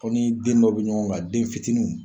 Aw ni den dɔ bɛ ɲɔgɔn kan den fitininw.